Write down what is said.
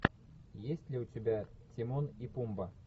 есть ли у тебя тимон и пумба